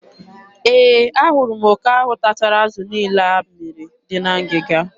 E, a hụrụ m oke ahụ tachara azụ niile a mmịrị dị na ngịga.